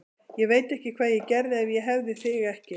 Ég veit ekki hvað ég gerði ef ég hefði þig ekki.